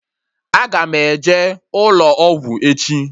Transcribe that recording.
Aga m eje ụlọ ọgwụ echi